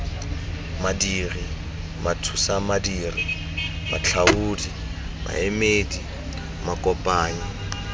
madiri mathusamadiri matlhaodi maemedi makopanyi